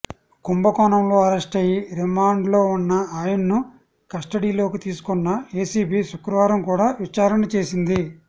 కుంభకోణంలో అరెస్టయి రిమాండ్లో ఉన్న ఆయన్ను కస్టడీలోకి తీసుకున్న ఏసీబీ శుక్రవారం కూడా విచారణ చేసింది